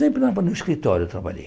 Sempre escritório eu trabalhei.